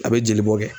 A bɛ jeli bɔ kɛ